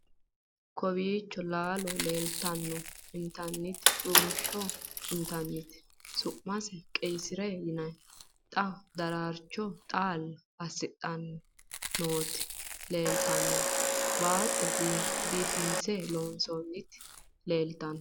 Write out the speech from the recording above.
kowiicho laalo leltanno intanniti rumushsho intannite su'mase qayisirete yinanni xa darcho xaalla assidhanni nooti leeltannoe baatto biifinse loonsoonniti leeltanno .